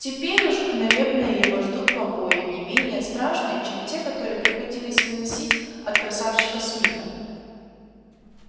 теперь уж наверное его ждут побои не менее страшные чем те которые приходились выносить от красавчика смита